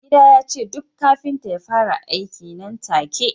mai gida ya ce duk kafinta ya fara aiki nan take